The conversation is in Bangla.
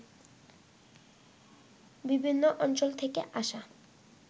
বিভিন্ন অঞ্চল থেকে আসা